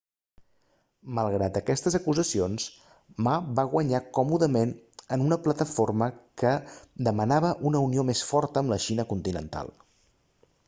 malgrat aquestes acusacions ma va guanyar còmodament en una plataforma que demanava una unió més forta amb la xina continental